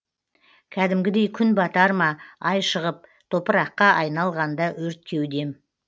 кәдімгідей күн батар ма ай шығып топыраққа айналғанда өрт кеудем